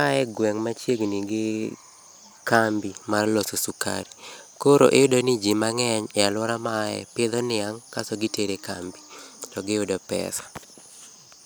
Ae e gweng' machiegni gi kambi mar loso sukari. Koro iyudo ni ji mang'eny e aluora ma a ae pidho niang' kasto gitere kambi, to giyudo pesa.